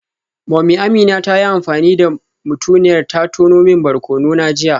Mummy Amina ta yi amfani da mutuniyar ta ta tono min barkono na jiya